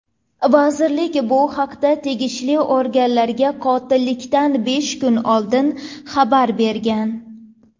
Vazirlik bu haqda tegishli organlarga qotillikdan besh kun oldin xabar bergan.